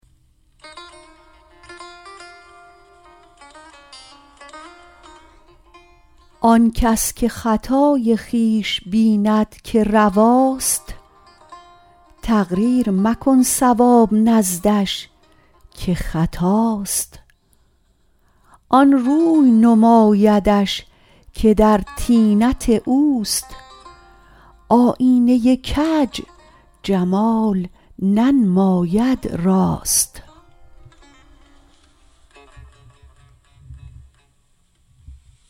آن کس که خطای خویش بیند که رواست تقریر مکن صواب نزدش که خطاست آن روی نمایدش که در طینت اوست آیینه کج جمال ننماید راست